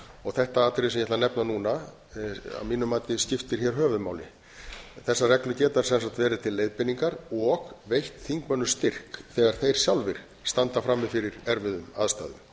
þetta atriði sem ég ætla að nefna núna að mínu mati skiptir hér höfuðmáli þessar reglur geta sem sagt verið til leiðbeiningar og veitt þingmönnum styrk þegar þeir sjálfir standa frammi fyrir erfiðum aðstæðum